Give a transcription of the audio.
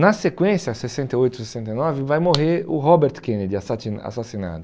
Na sequência, sessenta e oito, sessenta e nove, vai morrer o Robert Kennedy, assassinado.